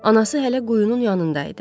Anası hələ quyunun yanında idi.